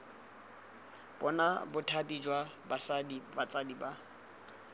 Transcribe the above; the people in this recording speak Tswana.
bona bothati jwa botsadi jwa